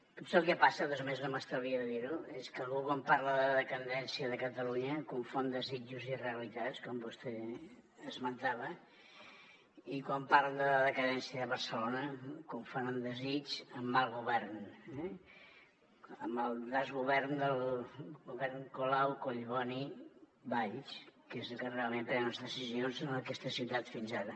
potser el que passa de totes maneres no m’estalvia de dir ho és que algú quan parla de decadència de catalunya confon desitjos i realitats com vostè esmentava i quan parla de decadència de barcelona confon un desig amb mal govern amb el desgovern del govern colau collboni valls que és el que realment pren les decisions en aquesta ciutat fins ara